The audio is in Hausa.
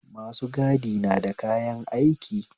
Masu gadi nada kayan aiki